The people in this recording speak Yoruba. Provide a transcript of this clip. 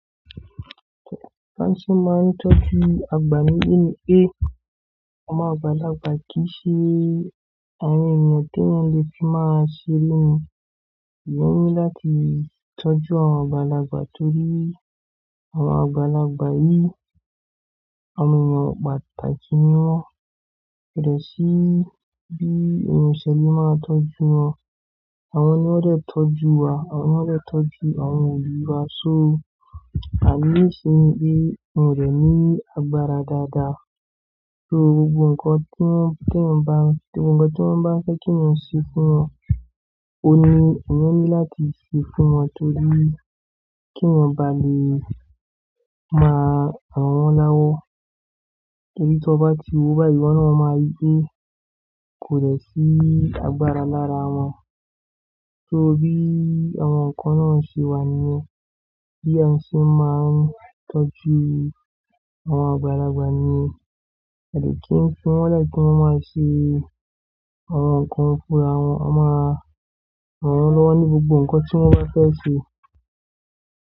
B'ọ́n ṣé mo máa ń tọ́jú àgbà nílé ni pe, àwọn àgbàlagbà kìí ṣe àwọn ènìyàn téèyàn le fi máa ṣe èèyàn ni lati tọ́jú àwọn àgbàlagbà torí àwọn àgbàlagbà yìí, àwọn èèyàn pàtàkì ni wọ́n. Kò dẹ̀ sí bí ìmọ̀ ìṣẹ̀lẹ̀ máa ń tọ́jú wọn. Àwọn ni wón dẹ̀ tọ́jú wa, àwọn ni wón dẹ̀ tọ́jú àwọn òbí wa. So àbí ìṣe ni pé wọn rẹ̀ ní agbára dáadáa. So gbogbo nǹkan tí wọ́n bá ń fẹ́ kéèyàn ṣe fún wọn, òun ni èèyàn ní láti ṣe fún wọn torí kéèyàn ba lè máa rọ̀ wọ́n lọ́wọ́. Torí tí wọ́n bá ti wọ́ bàì wọ́n, wọ́n máa rí pé kò lè sí agbára lára wọn. So bi àwọn kan naa ṣe wà nìyẹn. Aà dẹ̀ kí ń fi wọ́n 'lẹ̀ kí wọ́n máa ṣe àwọn nǹkan fúnra wọn. A máa ràn wọ́n lọ́wọ́ ní gbogbo nǹkan tí wọ́n bá fẹ́ ṣe.